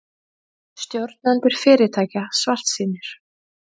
Stjórnendur fyrirtækja svartsýnir